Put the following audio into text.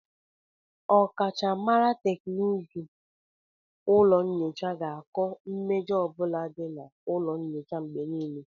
Ọkachamara teknụzụ ụlọ nyocha ga-akọ mmejọ ọ bụla dị na ụlọ nyocha mgbe nílé